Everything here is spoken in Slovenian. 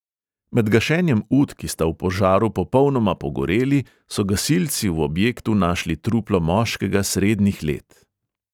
Med gašenjem ut, ki sta v požaru popolnoma pogoreli, so gasilci v objektu našli truplo moškega srednjih let.